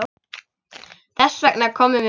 Þess vegna komum við.